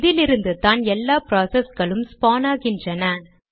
இதிலிருந்துதான் எல்லா ப்ராசஸ்களும் ஸ்பான் ஆகின்றன